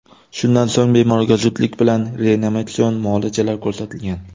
Shundan so‘ng, bemorga zudlik bilan reanimatsion muolajalar ko‘rsatilgan.